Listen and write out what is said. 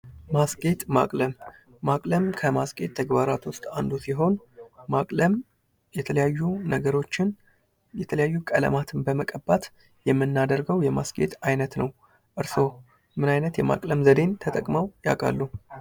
ማስጌጥ ማቅለም ማቅለም ከማስገኘት ተግባራት ውስጥ አንዱ ሲሆን ፤ማቅለም የተለያዩ ነገሮችን የተለያዩ ቀለማትን በመቀባት የምናደርገው የማስጌጥ አይነት ነው። እርስዎ ምን ዓይነት የማቅለም ዘዴ ተጠቅመው ያውቃሉ?